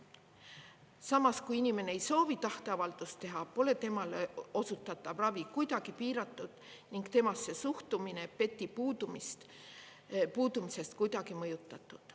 Samas, kui inimene ei soovi tahteavaldust teha, pole temale osutatav ravi kuidagi piiratud ning temasse suhtumine PET-i puudumisest kuidagi mõjutatud.